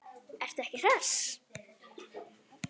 Ertu ekki hress?